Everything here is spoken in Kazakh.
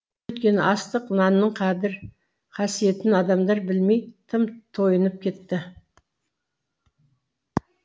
өйткені астық нанның қадір қасиетін адамдар білмей тым тойынып кетті